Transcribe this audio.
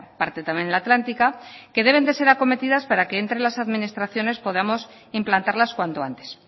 parte también la atlántica que deben ser acometidas para que entre las administraciones podamos implantarlas cuanto antes